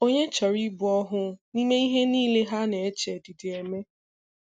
Ònye chọrọ ịbụ òhù n’ime ihe niile ha na-eche dị dị eme?